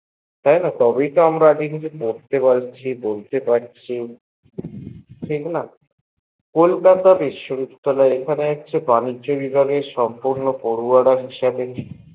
তাইনা তবেই তো আমরা কিছু পড়তে পারছি বলতে পারছি ঠিক না কলকাতা বিশ্ববিদ্যালেয়র এখানে বাণিজ্য বিভাগে পড়ুয়া রা ছিল